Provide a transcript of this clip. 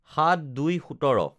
০৭/০২/১৭